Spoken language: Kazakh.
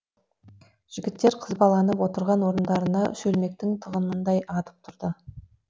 жігіттер қызбаланып отырған орындарына шөлмектің тығынындай атып тұрды